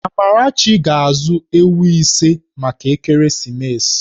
Amarachi ga-azụ ewu ise maka ekeresimesi.